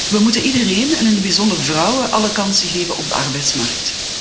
We moeten iedereen en in het bijzonder vrouwen alle kansen geven op de arbeidsmarkt.